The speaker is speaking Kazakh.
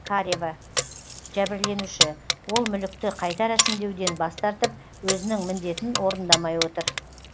карева жәбірленуші ол мүлікті қайта рәсімдеуден бас тартып өзінің міндетін орындамай отыр